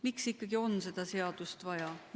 Miks ikkagi on seda seadust vaja?